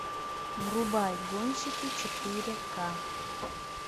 врубай гонщики четыре ка